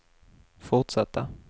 fortsatta